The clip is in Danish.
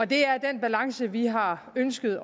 det er den balance vi har ønsket